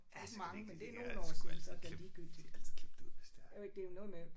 Ja så vigtigt ellers kan de sgu altid klip de kan altid klippe det ud hvis det er